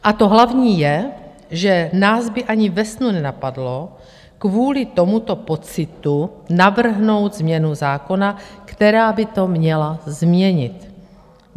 A to hlavní je, že nás by ani ve snu nenapadlo kvůli tomuto pocitu navrhnout změnu zákona, která by to měla změnit.